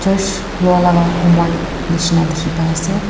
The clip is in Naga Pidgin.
church loilaga homoi nishina dikhi pai ase.